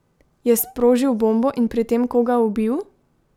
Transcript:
Je sprožil bombo in pri tem koga ubil?